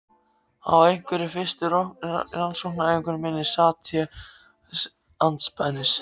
Á einhverri fyrstu rannsóknaræfingu minni sat ég andspænis